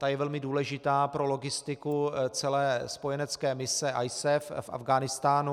Ta je velmi důležitá pro logistiku celé spojenecké mise ISAF v Afghánistánu.